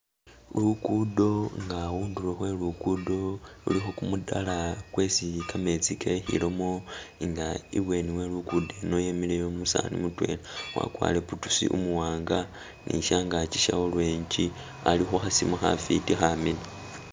Lukudo nga khundulo khwe lukudo lulikho kumutaro kwesi kametsi kekhilamo nga ibweni we lukudo eno wemileyo umusani mutwela wakwarire boots umuwanga ni shyangakyi sha orange ali khukhasimu khafiti kha miina.